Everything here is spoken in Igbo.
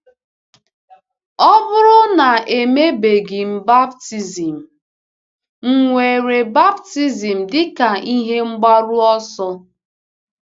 Ọ bụrụ na e mebeghị m baptism, m̀ nwere baptism dị ka ihe mgbaru ọsọ? ’